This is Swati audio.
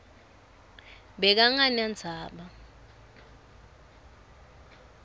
bekangenandzaba